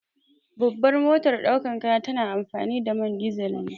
Babban motar daukar kaya tana amfani da man dizal ne.